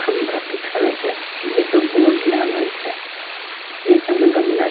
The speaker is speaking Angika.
खम्भा दिख रहल छै जे पे बोड लागल छै नीचा में गमला --